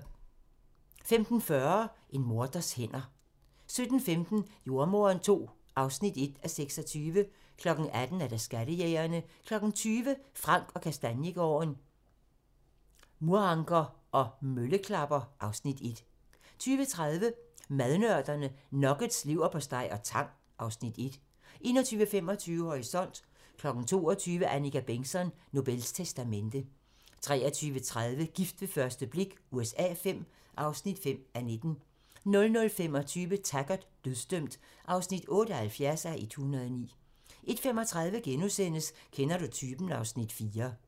15:40: En morders hænder 17:15: Jordemoderen II (1:26) 18:00: Skattejægerne 20:00: Frank & Kastaniegaarden - Muranker og mølleklapper (Afs. 1) 20:30: Madnørderne - Nuggets, leverpostej og tang (Afs. 1) 21:25: Horisont (tir) 22:00: Annika Bengtzon: Nobels testamente 23:30: Gift ved første blik USA V (5:19) 00:25: Taggart: Dødsdømt (78:109) 01:35: Kender du typen? (Afs. 4)*